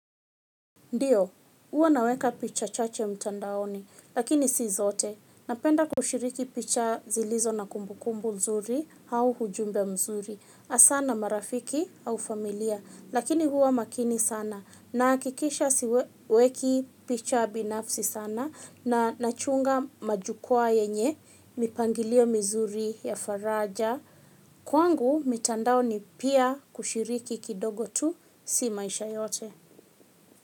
Ndio, huwa naweka picha chache mtandaoni, lakini si zote. Napenda kushiriki picha zilizo na kumbukumbu nzuri au ujumbe mzuri. Asana marafiki au familia, lakini huwa makini sana. Nahakikisha siweki picha binafsi sana na nachunga majukwaa yenye mipangilio mizuri ya faraja. Kwangu, mitandao ni pia kushiriki kidogo tu, si maisha yote.